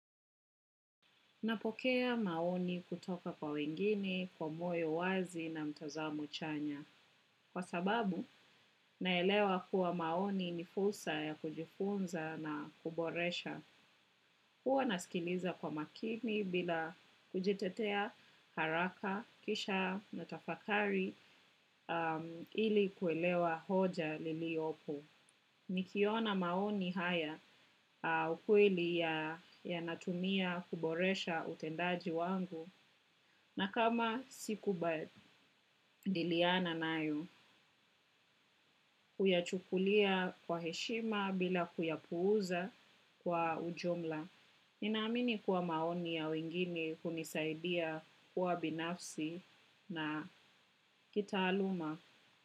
Napokea maoni kutoka kwa wengine kwa moyo wazi na mtazamo chanya. Kwa sababu, naelewa kuwa maoni ni fursa ya kujifunza na kuboresha. Huwa nasikiliza kwa makini bila kujitetea haraka, kisha na tafakari ili kuelewa hoja liliopo. Nikiona maoni haya ukweli yanatumia kuboresha utendaji wangu na kama siku badiliana nayo, huyachukulia kwa heshima bila kuyapuuza kwa ujumla. Ninaamini kuwa maoni ya wengine kunisaidia kuwa binafsi na kitaaluma.